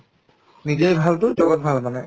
নিজেই ভাল to তেওঁলোক ভাল মানে